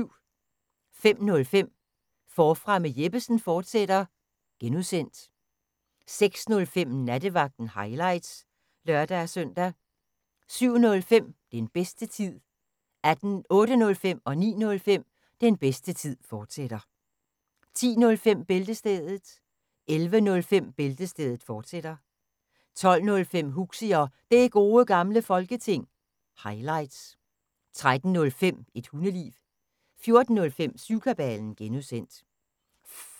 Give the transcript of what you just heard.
05:05: Forfra med Jeppesen fortsat (G) 06:05: Nattevagten – highlights (lør-søn) 07:05: Den bedste tid 08:05: Den bedste tid, fortsat 09:05: Den bedste tid, fortsat 10:05: Bæltestedet 11:05: Bæltestedet, fortsat 12:05: Huxi og Det Gode Gamle Folketing – highlights 13:05: Et Hundeliv 14:05: Syvkabalen (G)